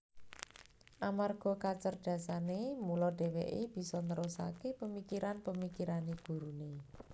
Amarga kacerdasane mula dheweke bisa nerusake pemikiran pemikirane gurune